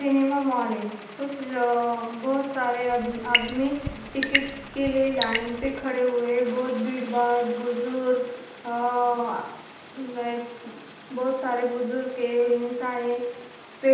cinema mall है कुछ अ बहुत सारे आद आदमी टिकिट के लिए लाइन पे खड़े हुए बहुत भीड़ बड़ा बुजुर्ग अह नहीं बहुत सारे बुजुर्ग है पे --